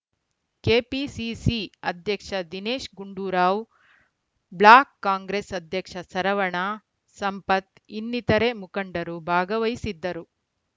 KPCC ಅಧ್ಯಕ್ಷ Dinesh Gundurao block Congress ಅಧ್ಯಕ್ಷ ಸರವಣ ಸಂಪತ್‌ ಇನ್ನಿತರೆ ಮುಖಂಡರು ಭಾಗವಹಿಸಿದ್ದರು